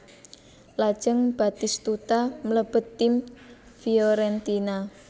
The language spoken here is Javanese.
Lajeng Batistuta mlebet tim Fiorentina